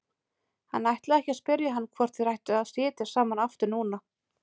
Hann ætlaði að spyrja hann hvort þeir ættu ekki að sitja saman aftur núna.